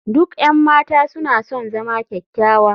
Duk 'yan mata suna son zama kyakkyawa.